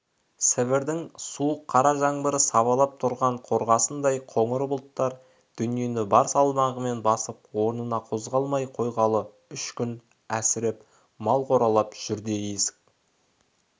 сібірдің суық қара жаңбыры сабалап тұрған қорғасындай қоңыр бұлттар дүниені бар салмағымен басып орнынан қозғалмай қойғалы үш күн әсіреп мал қоралап жүр еді есік